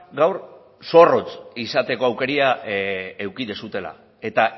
gaur zorrotz izateko aukera eduki dezuela eta